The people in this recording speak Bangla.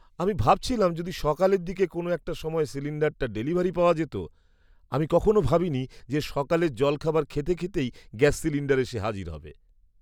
আমি ভাবছিলাম যদি সকালের দিকে কোনো একটা সময় সিলিণ্ডারটা ডেলিভারি পাওয়া যেত। আমি কখনো ভাবিনি যে সকালের জলখাবার খেতে খেতেই গ্যাস সিলিণ্ডার এসে হাজির হবে!